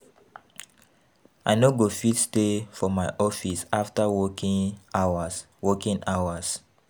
I no go fit stay for my office after working hours working hours